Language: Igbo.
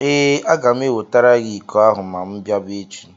Ee, aga m ewetara gị iko ahụ ma m bịaba echi.